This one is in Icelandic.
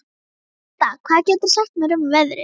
Róslinda, hvað geturðu sagt mér um veðrið?